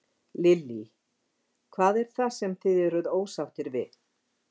Lillý: Hvað er það sem þið eruð ósáttir við?